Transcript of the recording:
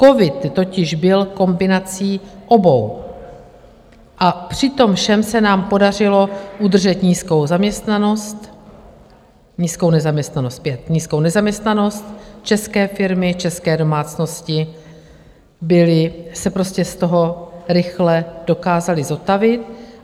Covid totiž byl kombinací obou a při tom všem se nám podařilo udržet nízkou zaměstnanost, nízkou nezaměstnanost, zpět, nízkou nezaměstnanost - české firmy, české domácnosti se prostě z toho rychle dokázaly zotavit.